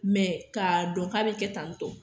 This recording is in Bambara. Mɛ k'a dɔn k'a bi kɛ tantɔ